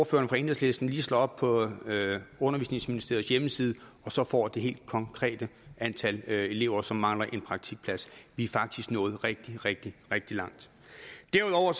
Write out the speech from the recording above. for enhedslisten lige slår op på undervisningsministeriets hjemmeside og så får det helt konkrete antal elever som mangler en praktikplads vi er faktisk nået rigtig rigtig rigtig langt derudover